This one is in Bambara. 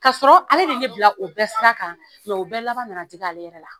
Kasɔrɔ ale de ye ne bila o bɛɛ sira kan u bɛɛ laban na na digi ale yɛrɛ la.